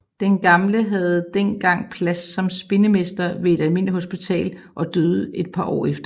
Den gamle havde den gang plads som spindemester ved almindeligt hospital og døde et par år efter